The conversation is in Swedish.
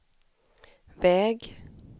väg